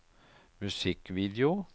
musikkvideo